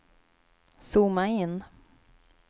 zooma in